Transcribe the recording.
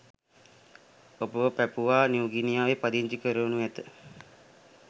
ඔබව පැපුවා නිව්ගිනියාවේ පදිංචි කරවනු ඇත